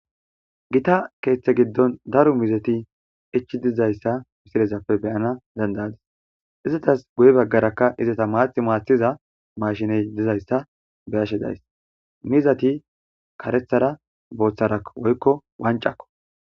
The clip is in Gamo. Gita keeththe giddon daru mizati ichi dizayssa misirezappe beyana dandayadis izatas guye baggarakka izata maathi maathiza mashiney dizayssa beyashe days mizati karethara booththara woykko wancakko.